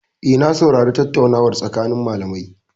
Eh, na saurari tattaunawar tsakanin malamai.